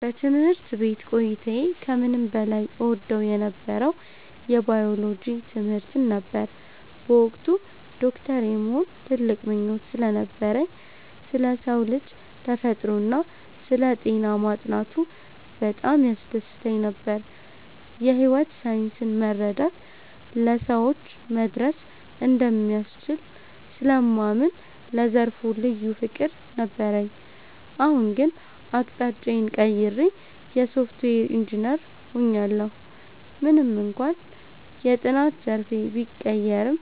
በትምህርት ቤት ቆይታዬ ከምንም በላይ እወደው የነበረው የባዮሎጂ ትምህርትን ነበር። በወቅቱ ዶክተር የመሆን ትልቅ ምኞት ስለነበረኝ፣ ስለ ሰው ልጅ ተፈጥሮና ስለ ጤና ማጥናቱ በጣም ያስደስተኝ ነበር። የሕይወት ሳይንስን መረዳት ለሰዎች መድረስ እንደሚያስችል ስለማምን ለዘርፉ ልዩ ፍቅር ነበረኝ። አሁን ግን አቅጣጫዬን ቀይሬ የሶፍትዌር ኢንጂነር ሆኛለሁ። ምንም እንኳን የጥናት ዘርፌ ቢቀየርም፣